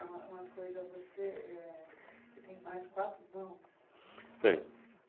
Uma uma coisa, você, eh, você tem mais quatro irmãos? Tenho.